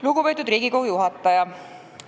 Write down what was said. Lugupeetud Riigikogu juhataja!